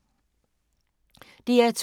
DR2